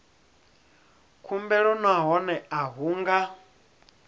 khumbelo nahone a hu nga